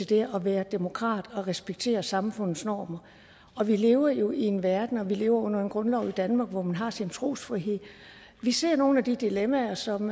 det at være demokrat og respektere samfundets normer vi lever jo i en verden og vi lever under en grundlov i danmark hvor man har sin trosfrihed vi ser nogle af de dilemmaer som